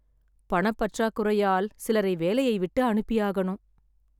பணப் பற்றாக்குறையால் சிலரை வேலையை விட்டு அனுப்பியாகணும்